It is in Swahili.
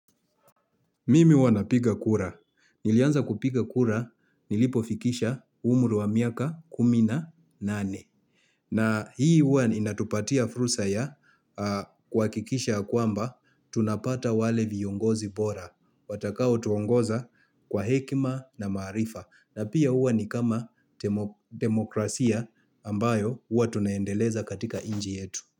Mimi huwa napiga kura. Nilianza kupiga kura nilipofikisha umri wa miaka kumi na nane. Na hii huwa inatupatia fursa ya kuhakikisha ya kwamba tunapata wale viongozi bora. Watakao tuongoza kwa hekima na maarifa. Na pia huwa ni kama demokrasia ambayo huwa tunaendeleza katika nchi yetu.